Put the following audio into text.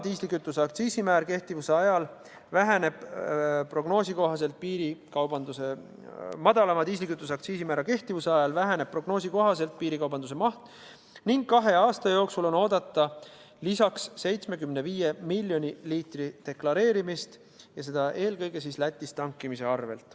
Diislikütuse madalama aktsiisimäära kehtivuse ajal väheneb prognoosi kohaselt piirikaubanduse maht ning kahe aasta jooksul on oodata lisaks 75 miljoni liitri deklareerimist, seda eelkõige Lätis tankimise arvel.